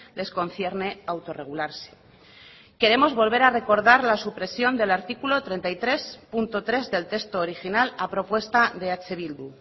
les concierne autorregularse queremos volver a recordar la supresión del artículo treinta y tres punto tres del texto original a propuesta de eh bildu